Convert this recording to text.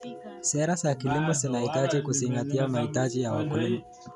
Sera za kilimo zinahitaji kuzingatia mahitaji ya wakulima.